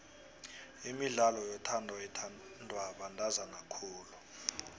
imidlalo yothando ithandwa bantazana khulu